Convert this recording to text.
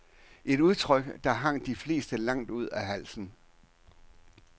Et udtryk, der hang de fleste langt ud af halsen.